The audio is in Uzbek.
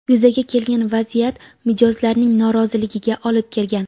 Yuzaga kelgan vaziyat mijozlarning noroziligiga olib kelgan.